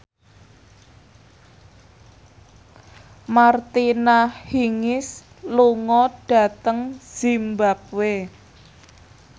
Martina Hingis lunga dhateng zimbabwe